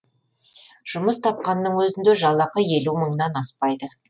жұмыс тапқанның өзінде жалақы елу мыңнан аспайды